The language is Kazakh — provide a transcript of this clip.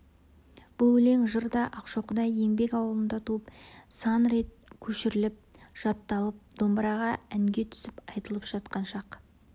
бұл өлең жыр да ақшоқыдай еңбек аулында туып сан рет көшіріліп жатталып домбыраға әнге түсіп айтылып жатқан шақ